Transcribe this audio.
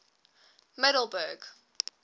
middelburg